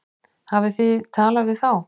Hafið þið talað við þá?